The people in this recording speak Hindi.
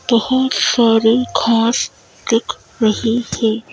बहुत सारी घास दिख रही है।